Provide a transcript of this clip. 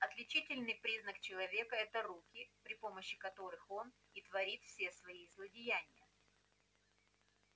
отличительный признак человека это руки при помощи которых он и творит все свои злодеяния